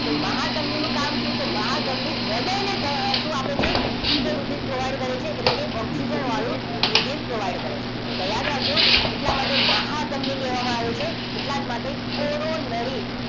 તો મહાધમનીનું કામ શું તો મહાધમની હૃદયને શું આપે છે શુદ્ધ રુધિર provide કરે છે એટલે કે ઓક્સિજન વાયુ રુધિર provide કરે છે તો યાદ રાખજો એટલા માટે મહાધમની કહેવામાં આવે છે એટલા માટે કોરોનરી